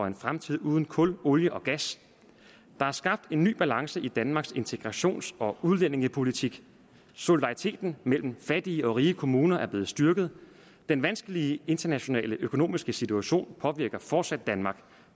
en fremtid uden kul olie og gas der er skabt en ny balance i danmarks integrations og udlændingepolitik solidariteten mellem fattige og rige kommuner er blevet styrket den vanskelige internationale økonomiske situation påvirker fortsat danmark